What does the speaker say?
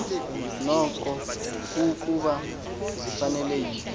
nokokuba zifanele yiphi